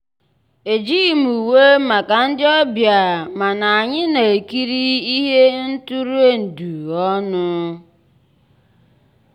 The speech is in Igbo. ejíghị m ùwé màkà ndị́ ọ̀bịá mànà ànyị́ ná-èkírí íhé ntụ́rụ́èndụ́ ọnụ́.